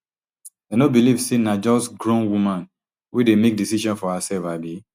dem no believe say na just grown woman wey dey make decision for hersef abi